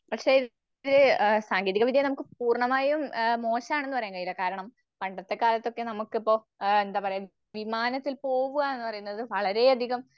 പക്ഷെ ഇവര് സാങ്കേതികവിദ്യ നമുക്ക് പൂർണമായും മോശാണെന്ന് പറയാൻ കഴിയില്ല. കാരണം പണ്ടത്തെ കാലത്തൊക്കെ നമുക്കിപ്പൊ ഏഹ് എന്താപറയ വിമാനത്തിൽ പോകുവാണെന്ന് പറയുന്നത് വളരെയധികം